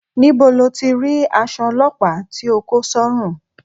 Níbo lo ti rí aṣọ ọlọ́pàá tí o kó sọ́rùn?